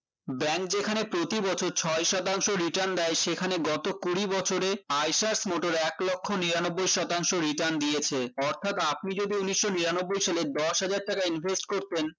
bank যেখানে প্রতিবছর ছয় শতাংশ return দেয় সেখানে গত কুড়ি বছরে motor এক লক্ষ নিরানব্বই শতাংশ return দিয়েছে অর্থাৎ আপনি যদি উনিশশো নিরানব্বই সালে দশ হাজার টাকা invest করতেন